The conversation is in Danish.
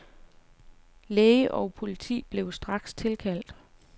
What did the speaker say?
Læge og politi blev straks tilkaldt.